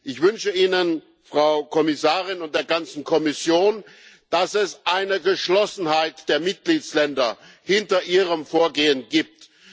Ich wünsche ihnen, Frau Kommissarin, und der ganzen Kommission, dass es eine Geschlossenheit der Mitgliedstaaten hinter Ihrem Vorgehen gibt.